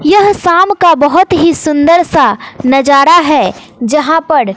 यह शाम का बहोत ही सुंदर सा नजारा है जहां पड --